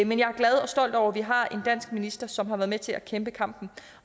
men jeg er glad og stolt over at vi har en dansk minister som har været med til at kæmpe kampen